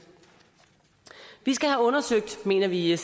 vi skal have undersøgt mener vi i